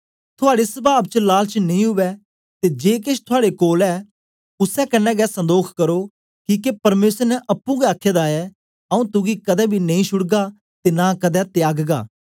थुआड़े सवाव च लालच नेई उवै ते जे केछ थुआड़े कोल ऐ उसै कन्ने गै संदोख करो किके परमेसर ने अप्पुं गै आखे दा ऐ आऊँ तुगी कदें बी नेई छुड़गा ते नां कदें त्यागगा